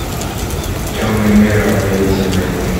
темный мир равновесие найди